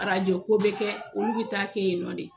Arajo ko bɛ kɛ olu bɛ taa kɛ yen nɔ de.